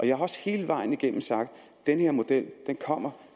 jeg har også hele vejen igennem sagt at den her model kommer